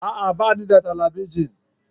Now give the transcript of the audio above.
A'a! Ba ni da talabijin.